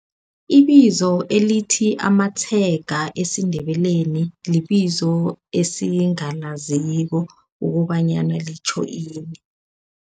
Ibizo elithi amatshega esiNdebeleni libizo esingalaziko ukobanyana litjho ini.